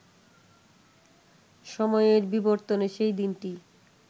সময়ের বিবর্তনে সেই দিনটি